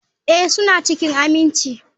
Ee, suna cikin aminci.